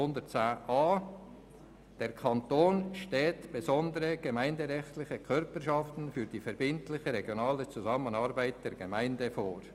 «Der Kanton sieht besondere gemeinderechtliche Körperschaften für die verbindliche regionale Zusammenarbeit der Gemeinden vor.»